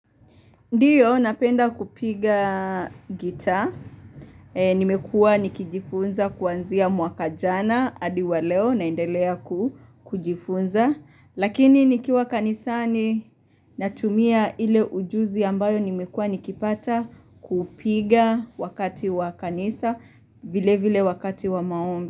Ndiyo napenda kupiga gita, nimekua nikijifunza kuanzia mwaka jana, hadi wa leo naendelea kujifunza, lakini nikiwa kanisani natumia ile ujuzi ambayo nimekua nikipata kupiga wakati wa kanisa vile vile wakati wa maombi.